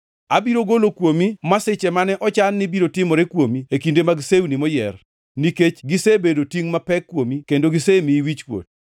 “Abiro golo kuomi masiche mane ochan ni biro timore kuomi e kinde mag sewni moyier, nikech gisebedo tingʼ mapek kuomi kendo gisemiyi wichkuot.